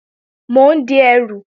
Mò ń di ẹrù